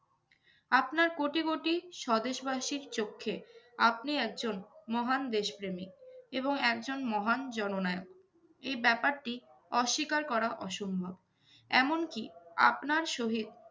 আপনার কোটি কোটি স্বদেশবাসীর চোক্ষে আপনি একজন মহান দেশপ্রেমী এবং একজন মহান জননায়ক। এই ব্যাপারটি অস্বীকার করা অসম্ভব। এমনকি আপনার সহিত